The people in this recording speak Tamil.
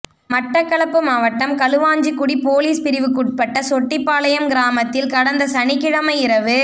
மட்டக்களப்பு மாவட்டம் களுவாஞ்சிகுடி பொலிஸ் பிரிவுக்குட்பட்ட சொட்டிபாளையம் கிராமத்தில் கடந்த சனிக்கிழமை இரவு